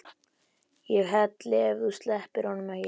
ÉG HELLI EF ÞÚ SLEPPIR HONUM EKKI!